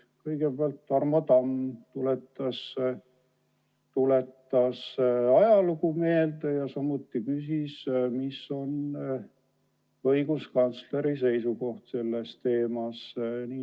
Kõigepealt Tarmo Tamm tuletas ajalugu meelde ja küsis, mis on õiguskantsleri seisukoht selle teema puhul.